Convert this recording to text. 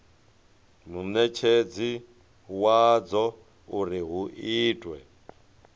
munetshedzi wadzo uri hu itwe